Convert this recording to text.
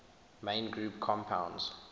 main group compounds